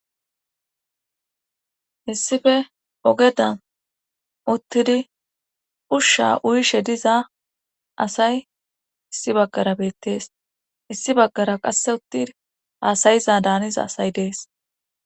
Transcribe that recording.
issife ogeda uttidi ushsha uyishe diza asay issi baggara beettees issi baggara qasse uttin haasayiza daaniza asay dees